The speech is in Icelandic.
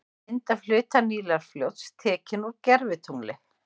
Mynd af hluta Nílarfljóts, tekin úr gervitungli.